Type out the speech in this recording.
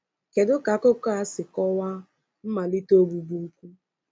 Kedu ka akụkọ a si kọwa mmalite ogbugbu ukwu?